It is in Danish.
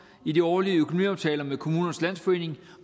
i de årlige økonomiaftaler med kommunernes landsforening